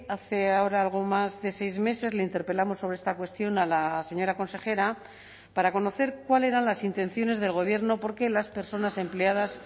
hace ahora algo más de seis meses le interpelamos sobre esta cuestión a la señora consejera para conocer cuál eran las intenciones del gobierno porque las personas empleadas